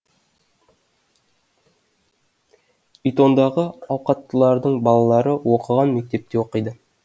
итондағы ауқаттылардың балалары оқыған мектепте оқиды